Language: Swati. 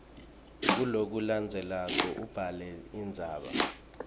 kulokulandzelako ubhale indzaba